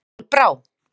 Kolbrá